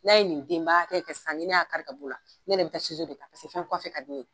N'a ye nin denba hakɛ kɛ sisan, ni ne y'a kari ka b'o la, ne yɛrɛ be taa dɔ ta ka d'u ye